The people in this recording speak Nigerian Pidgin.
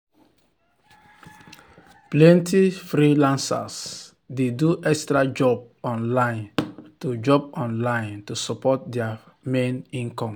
plenty freelancers dey do extra job online to job online to support their main income.